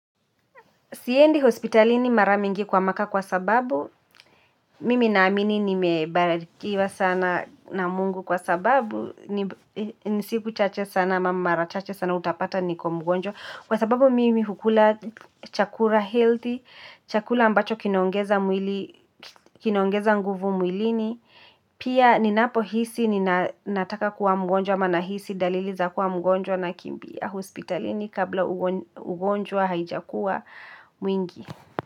Siendi hospitalini mara mingi kwa maka kwa sababu, mimi naamini nimebarakiwa sana na mungu kwa sababu, ni siku chache sana ama mara chache sana utapata niko mgonjwa. Kwa sababu mimi hukula chakura healthy, chakura ambacho kinoongeza nguvu mwilini, pia ninapo hisi ni nataka kuwa mgonjwa manahisi daliliza kuwa mgonjwa na kimbia hospitalini kabla ugonjwa haijakuwa mwingi.